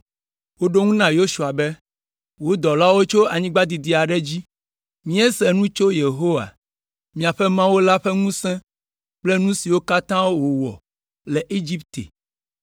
Woɖo eŋu na Yosua be, “Wò dɔlawo tso anyigba didi aɖe dzi. Míese nu tso Yehowa, miaƒe Mawu la ƒe ŋusẽ kple nu siwo katã wòwɔ le Egipte